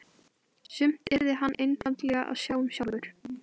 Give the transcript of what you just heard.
Þar spilaði hann undir stjórn Kristjáns Guðmundssonar, þjálfara Leiknis.